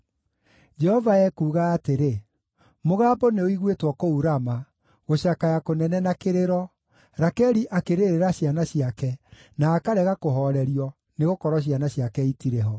Jehova ekuuga atĩrĩ: “Mũgambo nĩũiguĩtwo kũu Rama, gũcakaya kũnene na kĩrĩro, Rakeli akĩrĩrĩra ciana ciake, na akarega kũhoorerio, nĩgũkorwo ciana ciake itirĩ ho.”